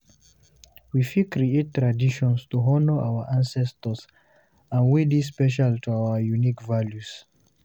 We fit create traditions to honor our ancestors and wey dey special to our unique values